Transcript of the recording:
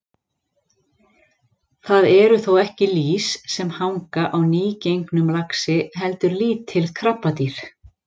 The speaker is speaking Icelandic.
Það eru þó ekki lýs sem hanga á nýgengnum laxi heldur lítil krabbadýr.